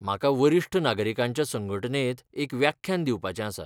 म्हाका वरिश्ट नागरीकांच्या संघटणेंत एक व्याख्यान दिवपाचें आसा.